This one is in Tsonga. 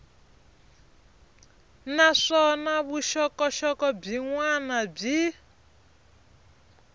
naswona vuxokoxoko byin wana byi